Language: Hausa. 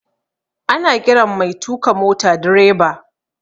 Ana ƙiran mai tuka mota direba